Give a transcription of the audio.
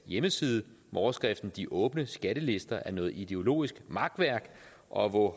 hjemmeside med overskriften de åbne skattelister er noget ideologisk makværk og hvor